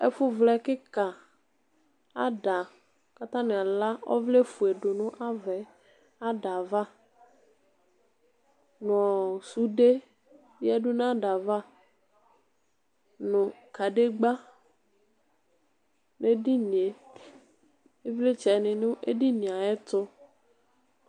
Ɛfʋ vlɛ kika ada kʋ atani ala ɔvlɛfue du nʋ ada yɛ ava nʋ sude yadʋ nʋ adava nʋ kadegba nʋ edinie ivlitsɛ ni nʋ edinie ayʋ ɛtʋ